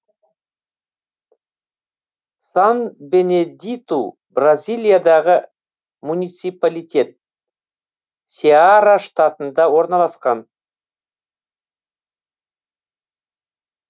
сан бенедиту бразилиядағы муниципалитет сеара штатында орналасқан